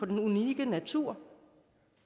den unikke natur